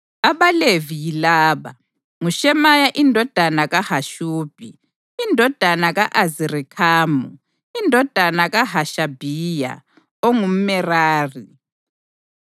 AbaLevi yilaba: nguShemaya indodana kaHashubhi, indodana ka-Azirikhamu, indodana kaHashabhiya, ongumʼMerari;